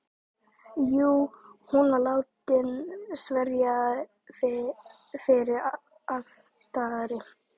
Jú, hún var látin sverja fyrir altari.